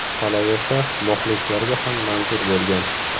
Qolaversa, muxlislarga ham manzur bo‘lgan.